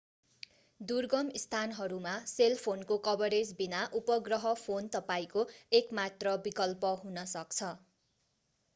दुर्गम स्थानहरूमा सेल फोनको कभरेज बिना उपग्रह फोन तपाईंको एक मात्र विकल्प हुन सक्छ